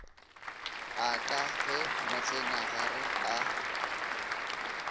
a ka ge motsenagare a